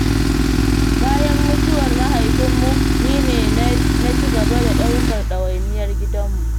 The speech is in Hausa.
Bayan mutuwar mahaifinmu ni ne na ci gaba da ɗaukar ɗawainiyar gidanmu.